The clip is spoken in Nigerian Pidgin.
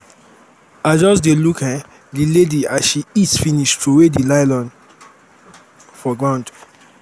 i just dey look um the lady as she eat finish throw the nylon for ground